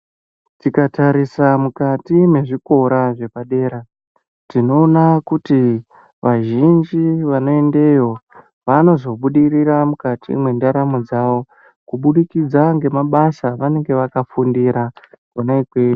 Tikatarisa mukati mezvikora zvepadera tinoona kuti pazhinji vanoendeyo vanozobudirira mukati mendaramo dzavo kubudikidza ngemabasa vanenge vakapfundira